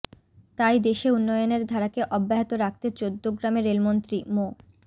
তাই দেশে উন্নয়নের ধারাকে অব্যাহত রাখতে চৌদ্দগ্রামে রেলমন্ত্রী মো